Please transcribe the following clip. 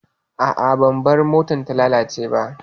A'a, bamfar motar bata lalace ba.